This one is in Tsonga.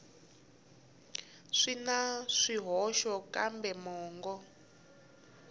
swi na swihoxo kambe mongo